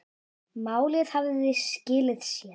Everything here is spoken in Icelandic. Málið hafði skilað sér.